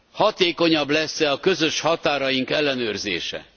Hatékonyabb lesz e a közös határaink ellenőrzése?